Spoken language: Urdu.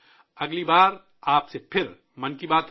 اگلی بار آپ سے پھر 'من کی بات' ہو گی